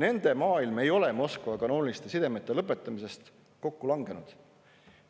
Nende maailm ei ole kokku langenud, kuigi lõpetati kanoonilised sidemed